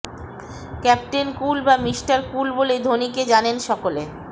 captain cool বা mister cool বলেই ধোনিকে জানেন সকলে